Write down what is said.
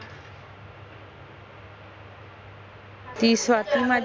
ही स्वाती माझी